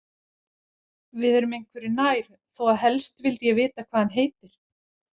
Við erum einhverju nær þó að helst vildi ég vita hvað hann heitir.